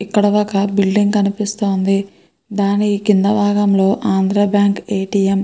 ఇక్కడ ఒక బిల్డింగ్ కనిపిస్తోంది దాని కింద భాగంలో Andhra bank A. T. M. .